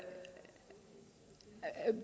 at det